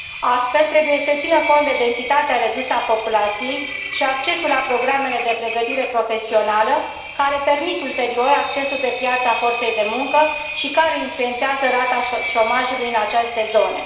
Astfel, trebuie să se țină cont de densitatea redusă a populației și accesul la programele de pregătire profesională, care permit ulterior accesul pe piața forței de muncă și care influențează rata șomajului în aceste zone.